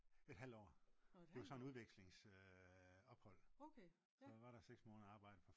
et halvt år det var sådan et udvekslingsophold så jeg var der 6 måneder at arbejde